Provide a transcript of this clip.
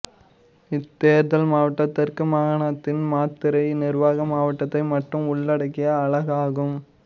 இத்தேர்தல் மாவட்டம் தெற்கு மாகாணத்தின் மாத்தறை நிருவாக மாவட்டத்தை மட்டும் உள்ளடக்கிய அலகாகும்